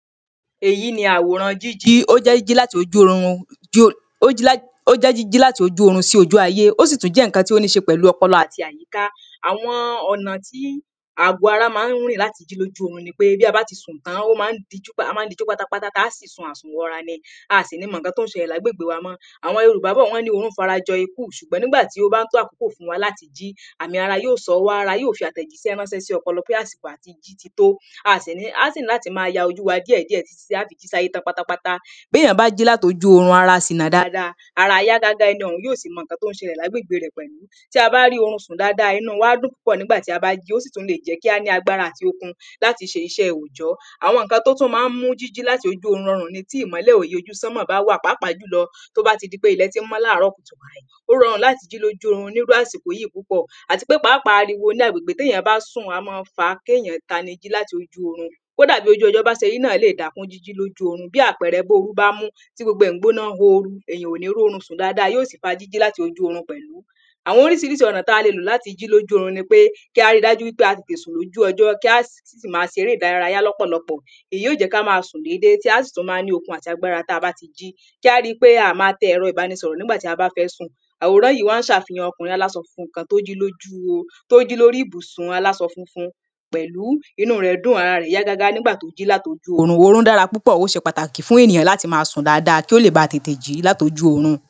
èyí ni àwòran jíjí, ó jẹ́ jíjí láti ojú orun sí ojú ayé jíjí láti ojú orun sí ojú ayé ó sì tún jẹ́ ǹkan tó ní ṣe pẹ̀lú ọpọlọ àti àyíká àwọn ọ̀nà tí àgo ara ma ń rin láti jí lóju orun ni pé bí a bá ti sùn tán, a máa dijú pátápátá tí a sì sùn wọra ni, aà sì ní mọ ǹkan tó ń ṣẹlẹ ni agbègbe wa mó àwọn Yorùbá bọ̀, wọ́n ní orún farajọ ikú, ṣùgbọ́n nígbà tó bá tó àkókò fún wa láti jí, àmi ara yóò sọ wá. Ara yóò fi àtẹ̀jíṣẹ́ ráńṣẹ́ sí ọpọlọ pé àsìkò àti jí ti tó a á sì ní láti máa ya ojú wa díẹ̀ díẹ̀ tí a fi jí sáyé tán pátápáta. bí èyàn bá jí láti ojú orun, ara sì nà dáadáa, ará á yá gágá, ẹni ọ̀ún yóò sì mọ ǹkan tó ń ṣẹlẹ lágbègbe rẹ̀ pẹ̀lú. tí a bá rí orun sùn dáadáa, inu wa á dùn púpọ̀ bi a ba ji, ó sì lè jẹ́ kí á ní agbára àti okun láti ṣe iṣẹ́ òòjọ́ àwọn ǹkan tó tún ma ń mú jíjí láti ojú orun rọrùn ni tí ìmọ́lẹ̀ òye ojú sanmọ bá wà pàápàá jùlọ tó bá ti di pé ilẹ̀ ti mọ láàrọ̀ kùtù ó rọrùn láti jí lojú orun lásìkò yìí púpọ̀, àti pe pàápàá àriwo náà ní agbègbè tí èyàn bá sùn, á má fa kí èyàn tanijí láti ojú orun. kódà bí ojú ọjọ́ ba ṣe ri náà lè dákún jíjí lóju orun bí àpẹrẹ, bí orú bá mú tí gbogbo ẹ̀ gbóná oo, èyàn ò ní ri orun sù̀n dáadáa, yóò sì fa jíjí láti ojú orun pẹ̀lú. àwọn oríṣiríṣi ọ̀nà tí a lè lò láti jí lóju orun ni pé kí á ríi dájú pé a tètè sùn lóju ọjọ́, kí á sì maa ṣe eré ìdárayá lọ́pọ̀lọpọ̀ èyí óò jẹ́ ká máa sùn déédé, tí a sì tún máa ní okun àti agbára tí a bá ti jí .Kí a ríi pé aà ní ma tẹ ẹ̀rọ ìbánisọ̀rọ̀ ni ìgbà tí a bá fẹ́ sùn. àwórán yìí wá ṣe àfihàn ọkùnrin aláṣọ funfun kan, tó jí lóri ibùsun aláṣọ funfun pẹ̀lú, inú rẹ̀ dùn, ara rẹ̀ yá gágá nígbà tó jí láti ojú orun. orún dára púpọ̀, ó ṣe pàtàkì fún ènìyàn láti máa sùn dáadáa, kí ó lè máa tètè jí láti ojú orun.